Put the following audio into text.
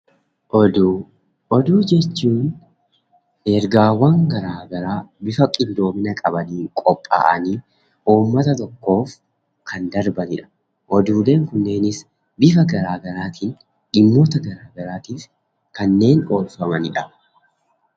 Oduu, oduu jechuun ergaawwan garaa garaa bifa qindoomina qabaniin qophaa'anii uummata tokkoof kan darbanidha. Oduuleen kunneenis bifa garaa garaatiin dhimmoota garaa garaatiif kanneen oolfamanidha.